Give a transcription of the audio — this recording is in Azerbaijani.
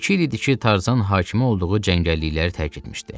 İki il idi ki, Tarzan hakimi olduğu cəngəllikləri tərk etmişdi.